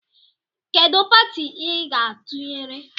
Kedụ pati I ga atụnyere?